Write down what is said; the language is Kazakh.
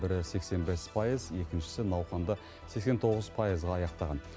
бірі сексен бес пайыз екіншісі науқанды сексен тоғыз пайызға аяқтаған